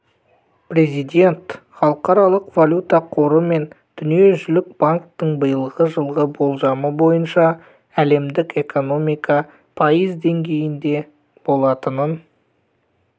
президент халықаралық валюта қоры мен дүниежүзілік банктің биылғы жылға болжамы бойынша әлемдік экономика пайыз деңгейінде болатынын